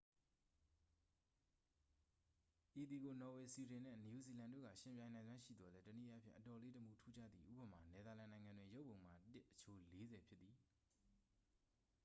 ဤသည်ကို နော်ဝေ၊ ဆွီဒင်နှင့် နယူးဇီလန်တို့က ယှဉ်ပြိုင်နိုင်စွမ်းရှိသော်လည်း တစ်နည်းအားဖြင့် အတော်လေး တမူထူးခြားသည် ဥပမာ- နယ်သာလန်နိုင်ငံတွင် ရုပ်ပုံမှာ တစ် အချိုး လေးဆယ်ဖြစ်သည်။